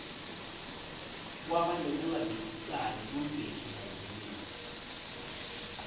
kwaba nekungavisisani ku mbeki na zuma